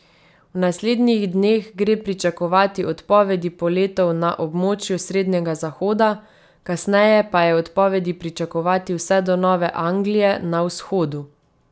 V naslednjih dneh gre pričakovati odpovedi poletov na območju srednjega zahoda, kasneje pa je odpovedi pričakovati vse do Nove Anglije na vzhodu.